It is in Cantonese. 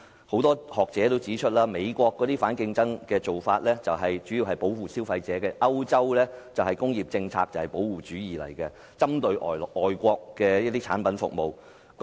很多學者也指出，美國的反競爭措施主要保護消費者，歐洲的工業政策同樣是保護主義，針對外國的產品和服務。